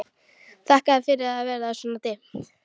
Þakkaði fyrir að það var svona dimmt.